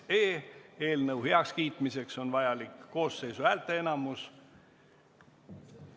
Eelnõu heakskiitmiseks on vajalik koosseisu häälteenamus.